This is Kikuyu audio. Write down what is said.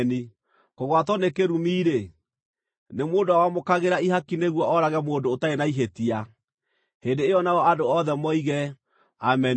“Kũgwatwo nĩ kĩrumi-rĩ, nĩ mũndũ ũrĩa wamũkagĩra ihaki nĩguo oorage mũndũ ũtarĩ na ihĩtia.” Hĩndĩ ĩyo nao andũ othe moige, “Ameni!”